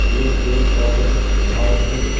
यह पेड़ पौधे बहुत ही --